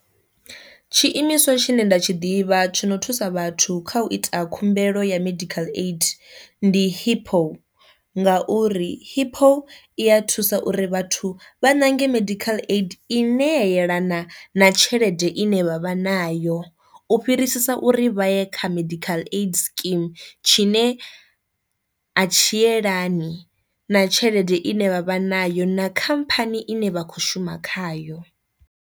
Tshiimiswa tshine nda tshi ḓivha tshono thusa vhathu kha u ita khumbelo ya medical aid ndi hippo, nga uri hippo i ya thusa uri vhathu vha ṋange medical aid i ne ya yelana na tshelede ine vha vha nayo u fhirisisa uri vha ye kha medical aid scheme tshine a tshi yelani na tshelede ine vha vha nayo na khamphani ine vha kho shuma khayo.